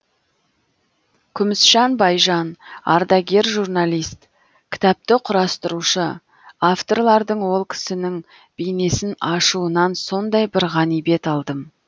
күмісжан байжан ардагер журналист кітапты құрастырушы авторлардың ол кісінің бейнесін ашуынан сондай бір ғанибет алдым